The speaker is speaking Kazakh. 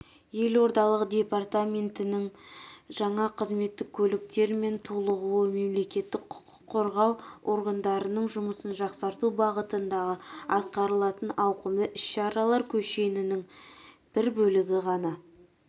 елордалық департаменттің жаңа қызметтік көліктермен толығуы мемлекеттің құқық қорғау органдарының жұмысын жақсарту бағытындағы атқарылатын ауқымды іс-шаралар кешенінің бір бөлігі ғана